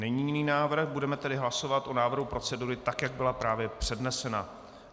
Není jiný návrh, budeme tedy hlasovat o návrhu procedury tak, jak byla právě přednesena.